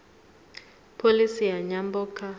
pholisi ya nyambo kha